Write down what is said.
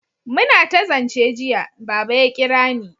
muna ta zance jiya, Baba ya kirani